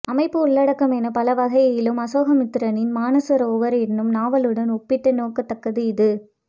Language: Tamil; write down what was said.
அமைப்பு உள்ளடக்கம் என பலவகையிலும் அசோகமித்திரனின் மானசரோவர் என்னும் நாவலுடன் ஒப்பிட்டு நோக்கத்தக்கது இது